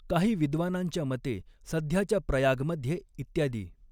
काही विद्वानांच्या मते, सध्याच्या प्रयागमध्ये इत्यादी